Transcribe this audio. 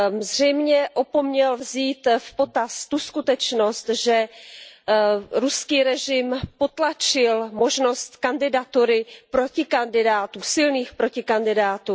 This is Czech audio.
Zřejmě opomněl vzít v potaz tu skutečnost, že ruský režim potlačil možnost kandidatury protikandidátů, silných protikandidátů.